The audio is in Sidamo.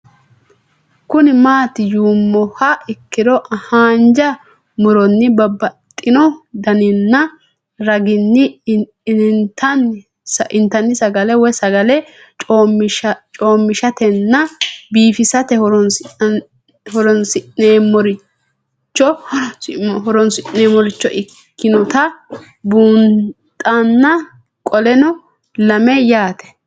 Kuni mati yinumoha ikiro hanja muroni babaxino daninina ragini intani sagale woyi sagali comishatenna bifisate horonsine'morich ikinota bunxana qoleno lame yaate